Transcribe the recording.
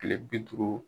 Kile bi duuru